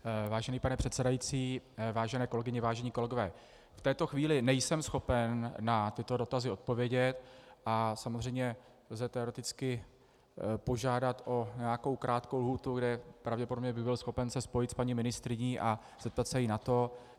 Vážený pane předsedající, vážené kolegyně, vážení kolegové, v této chvíli nejsem schopen na tyto dotazy odpovědět a samozřejmě lze teoreticky požádat o nějakou krátkou lhůtu, kde pravděpodobně bych byl schopen se spojit s paní ministryní a zeptat se jí na to.